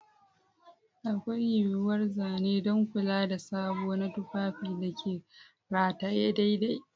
Akwai yuwuwar zane don kula da sabo na tufafin da ke rataye daidai.